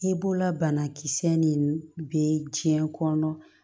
I b'ola banakisɛ nin bɛ diɲɛ kɔnɔ